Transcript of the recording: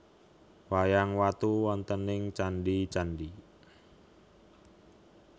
Wayang watu wontening candi candi